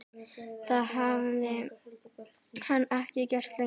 Það hafði hann ekki gert lengi.